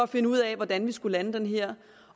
finde ud af hvordan vi skulle lande det her